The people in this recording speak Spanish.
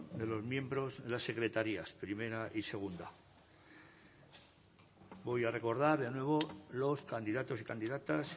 de los miembros de las secretarías primera y segunda voy a recordar de nuevo los candidatos y candidatas